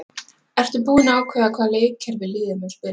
Ertu búinn að ákveða hvaða leikkerfi liðið mun spila?